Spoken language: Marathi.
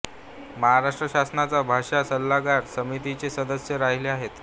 महाराष्ट्र शासनाच्या भाषा सल्लागार समितीचे सदस्य राहिले आहेत